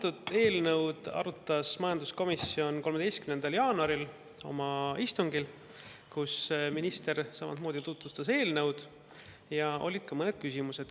Seda eelnõu arutas majanduskomisjon 13. jaanuaril oma istungil, kus minister samamoodi tutvustas eelnõu ja olid ka mõned küsimused.